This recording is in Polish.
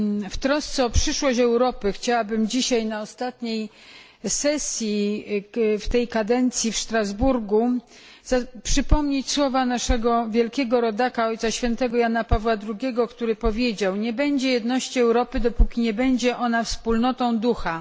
W trosce o przyszłość Europy chciałabym dzisiaj na ostatniej sesji w tej kadencji w Strasburgu przypomnieć słowa naszego wielkiego rodaka, Ojca Świętego Jana Pawła II, który powiedział Nie będzie jedności Europy dopóki nie będzie ona wspólnotą ducha.